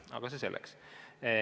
Aga see selleks.